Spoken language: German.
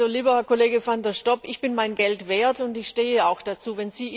Lieber Herr Kollege van der Stoep, ich bin mein Geld wert, und ich stehe auch dazu.